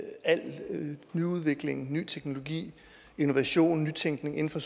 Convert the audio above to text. al nyudvikling ny teknologi innovation nytænkning inden for